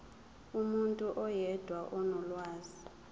umuntu oyedwa onolwazi